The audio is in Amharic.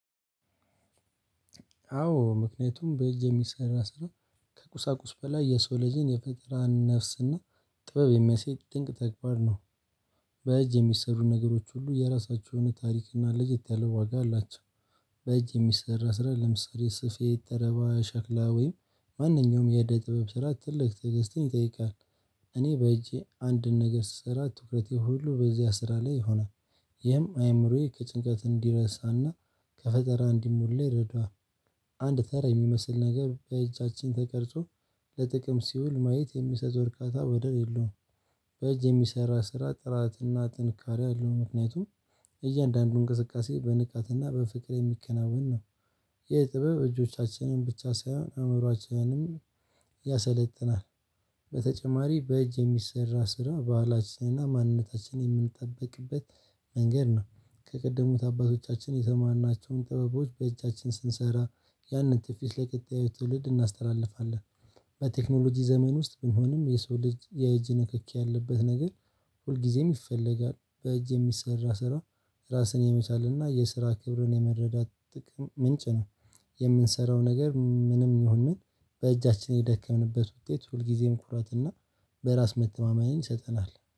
አዎ ምክንያቱም በእጅ የሚሰራ ስራ ከቁሳቁስ በላይ የሰው ልጅን የፍጠራ ነፍስና ጥበብ የሚያስይ ድንቅ ተግባር ነው። በእጅ የሚሰሩ ነገሮች ሁሉ የራሳቸው የሆነ እና ለየት ያለ ዋጋ አላቸው። በእጅ የሚሰራ ስራ ለምሳሌ ስፌት ተረባ ሸክላ ወይም ማንኛውም የደ ጥበብ ስራ ትልቅ ትዕግስትን ይጠይቃል። እኔ በእጄ አንድን ነገር ስሰራ ትኩረቴ ሁሉ በዚያ ስራ ላይ ይሆናል። ይህም አይምሮዬ ከጭንቀት እንዲረሳና ከፈጠራ እንዲሞላ ይረዳዋል። አንድ ተራ የሚመስል ነገ በእጃችን ተቀርጾ ለጥቅም ሲውል ማየት የሚሰጥ ወርቃታ ወደረ የለውም። በእጅ የሚሰራ ስራ ጥራትና ጥንካሬ አለው ምክንያቱም እያንዳንዱን እንቅስቃሴ በንቃትና በፍቅር የሚከናወን ነው። የጥበብ እጆቻችንን ብቻ ሳይሆን አእምሮአችንንም ያሰለጥናል። በተጨማሪ በእጅ የሚሰራ ስራ ባህላችንና ማንነታችንን የምንጠብቅበት መንገድ ነው ከቀደሙት አባቶቻችን የተማርናቸውን ጥበቦች በእጃችን ስንሰራ ያንን ትውፊት ለቀጣዩ ትውልድ እናስተላልፋለን። በቴክኖሎጂ ዘመን ውስጥ ቢሆንም የሰው ልጅ የእጅ ንክኪ ያለበት ነገር ሁልጊዜም ይፈለጋል። በእጅ የሚሰራ ስራ። ራስን የመቻል እና የስራ ክብርን የመረዳት ጥቅም ምንጭ ነው። የምንሰራው ነገር ምንም ይሁን ምን በእጃችን የደከምንበት ውጤት ሁልጊዜም ኩራትና በራስ መተማመንን ይሰጠናል